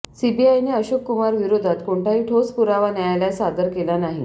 सीबीआयने अशोक कुमार विरोधात कोणताही ठोस पुरावा न्यायालयात सादर केला नाही